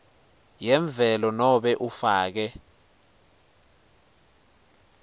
yemvelo nobe ufake